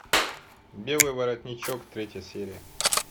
белый воротничок третья серия